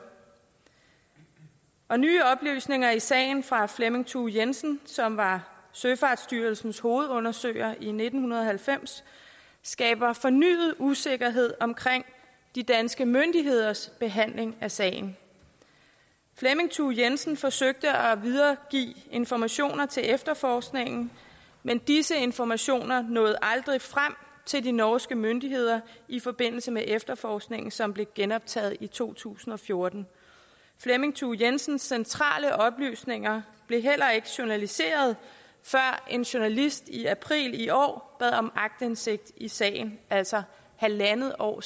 og nye oplysninger i sagen fra flemming thue jensen som var søfartsstyrelsens hovedundersøger i nitten halvfems skaber fornyet usikkerhed om de danske myndigheders behandling af sagen flemming thue jensen forsøgte at videregive informationer til efterforskningen men disse informationer nåede aldrig frem til de norske myndigheder i forbindelse med efterforskningen som blev genoptaget i to tusind og fjorten flemming thue jensens centrale oplysninger blev heller ikke journaliseret før en journalist i april i år bad om aktindsigt i sagen altså halvandet år